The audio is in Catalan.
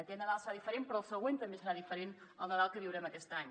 aquest nadal serà diferent però el següent també serà diferent al nadal que viurem aquest any